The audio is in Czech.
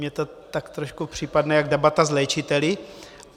Mně to tak trošku připadne jako debata s léčiteli.